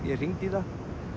ég hringdi í það